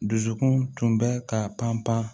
Dusukun tun bɛ ka pan pan